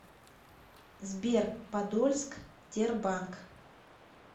сбер подольск тербанк